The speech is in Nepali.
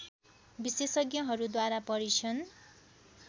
विशेषज्ञहरूद्वारा परीक्षण